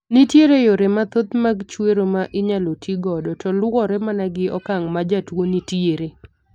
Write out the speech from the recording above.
Nitiere yore mathoth mag chwero ma inyalo ti godo to luwore mana gi okang' ma jatuo ni tiere.